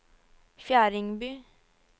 Fjerdingby